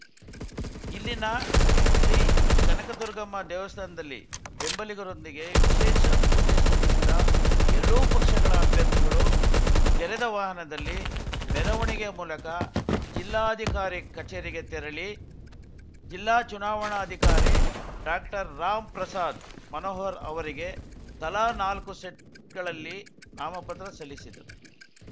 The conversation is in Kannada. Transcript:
ಇಲ್ಲಿನ ಶ್ರೀಕನಕ ದುರ್ಗಮ್ಮ ದೇವಸ್ಥಾನದಲ್ಲಿ ಬೆಂಬಲಿಗರೊಂದಿಗೆ ವಿಶೇಷ ಪೂಜೆ ಸಲ್ಲಿಸಿದ ಎರಡೂ ಪಕ್ಷಗಳ ಅಭ್ಯರ್ಥಿಗಳು ತೆರೆದ ವಾಹನದಲ್ಲಿ ಮೆರವಣಿಗೆ ಮೂಲಕ ಜಿಲ್ಲಾಧಿಕಾರಿ ಕಚೇರಿಗೆ ತೆರಳಿ ಜಿಲ್ಲಾ ಚುನಾವಣ ಅಧಿಕಾರಿ ಡಾಕ್ಟರ್ ರಾಮ್‌ ಪ್ರಸಾದ್‌ ಮನೋಹರ್‌ ಅವರಿಗೆ ತಲಾ ನಾಲ್ಕು ಸೆಟ್‌ಗಳಲ್ಲಿ ನಾಮಪತ್ರ ಸಲ್ಲಿಸಿದರು